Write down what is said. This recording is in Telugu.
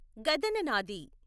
గదననాథి